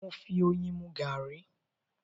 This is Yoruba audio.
Mo fi oyin mú garri